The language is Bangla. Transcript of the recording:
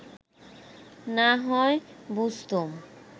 না হয় বুঝতুম